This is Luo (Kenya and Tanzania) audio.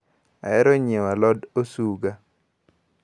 Ahero nyiewo alod osuga.